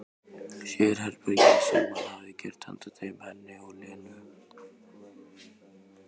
Sérherbergin sem hann hefði gert handa þeim, henni og Lenu.